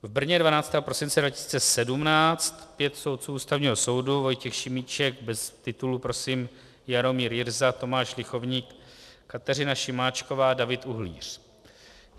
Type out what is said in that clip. V Brně 12. prosince 2017 pět soudců Ústavního soudu: Vojtěch Šimíček - bez titulu prosím, Jaromír Jirsa, Tomáš Lichovník, Kateřina Šimáčková, David Uhlíř.